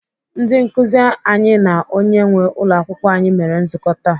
Ndị nkụzi anyị na onye nwee ụlọakwụkwọ anyị mere nzukọ taa.